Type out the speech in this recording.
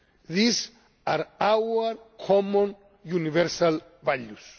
workers. These are our common universal